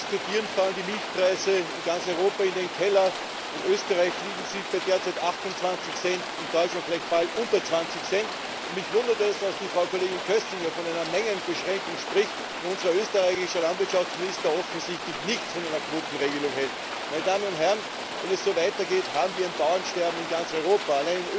Während wir hier diskutieren, fallen die Milchpreise in ganz Europa in den Keller. In Österreich liegen sie bei derzeit 28 Cent, in Deutschland vielleicht bald unter 20 Cent, und mich wundert es, dass die Frau Kollegin Köstinger von einer Mengenbeschränkung spricht, wo unser österreichischer Landwirtschaftsminister offensichtlich nichts von einer Quotenregelung hält! Meine Damen und Herren, wenn es so weitergeht, haben wir ein Bauernsterben in ganz Europa!